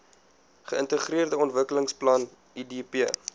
geintegreerde ontwikkelingsplan idp